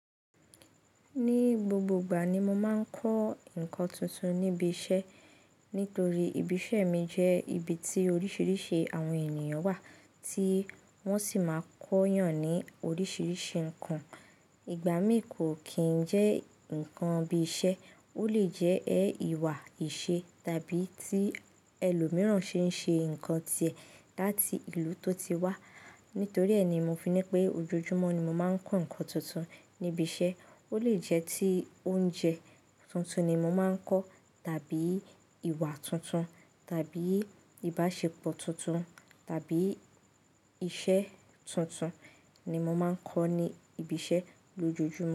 Ní gbogbo ìgbà ni mo máa ń kọ́ nǹkan tuntun níbi iṣẹ́. Nítorí ibi iṣẹ́ mi jẹ́ ibi tí oríṣiríṣi àwọn ènìyàn wà tí wọ́n sì máa kó yan ní oríṣiríṣi nǹkan. Ìgbà mí kò kì n jẹ́ ǹkan bí iṣẹ́, ó lè jẹ́ ẹ ìwà ìṣe tàbí tí ẹlòmíràn ṣe ń ṣe ǹkan tíẹ̀ láti ìlú tó ti wá. Nítorí ẹ ni mo fi ní pé ojoojúmọ́ ni mo máa ń kọ́ ǹkan tuntun níbi iṣẹ́. Ó lè jẹ́ tí oúnjẹ tuntun ni mo máa ń kọ́, tàbí ìwà tuntun, tàbí ìbáṣepọ̀ tuntun, tàbí iṣẹ́ tuntun ni mo máa ń kọ́ ní ibi iṣẹ́ lójoojúmọ́.